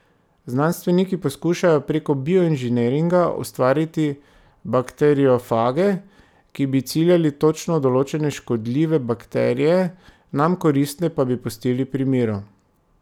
Znanstveniki poskušajo prek bioinženiringa ustvariti bakteriofage, ki bi ciljali točno določene, škodljive bakterije, nam koristne pa bi pustili pri miru.